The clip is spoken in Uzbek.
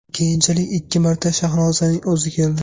Keyinchalik ikki marta Shahnozaning o‘zi keldi.